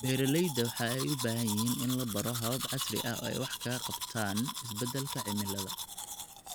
Beeralayda waxa ay u baahan yihiin in la baro habab casri ah oo ay wax kaga qabtaan isbeddelka cimilada.